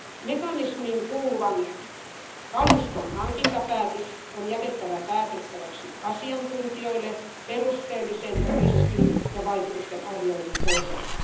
Mekanismiin kuuluvan kaluston hankintapäätös on jätettävä päätettäväksi asiantuntijoille perusteellisen riskin ja vaikutustenarvioinnin pohjalta.